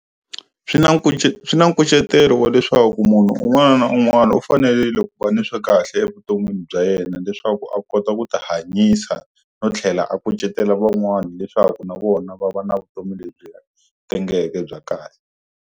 Swi na swi na nkucetelo wa leswaku munhu un'wana na un'wana u fanelile ku va ni swi kahle evuton'wini bya yena leswaku a kota ku ti hanyisa, no tlhela a kucetela van'wana leswaku na vona va va na vutomi lebyi tengeke bya kahle.